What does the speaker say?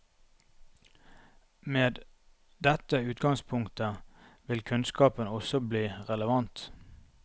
Med dette utgangspunktet vil kunnskapen også bli relevant.